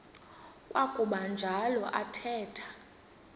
kwakuba njalo athetha